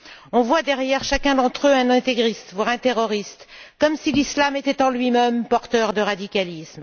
On voit derrière chacun d'entre eux un intégriste, voire un terroriste, comme si l'Islam était en lui même porteur de radicalisme.